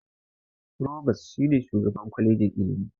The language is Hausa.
Furobas shi ne shugaban kwalejin Ilimi.